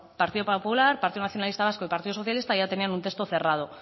partido popular partido nacionalista vasco y partido socialista ya tenían un texto cerrado